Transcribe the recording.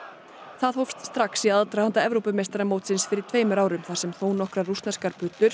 hún hófst strax í aðdraganda Evrópumeistaramótsins fyrir tveimur árum þar sem þónokkrar rússneskar